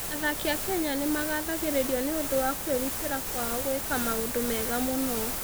Athaki a Kenya nĩ magathagĩrĩrio nĩ ũndũ wa kwĩrutĩra kwao gwĩka maũndũ mega mũno.